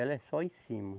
Ela é só em cima.